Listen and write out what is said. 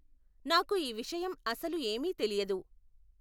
నాకు ఈ విషయం అసలు ఏమీ తెలియదు.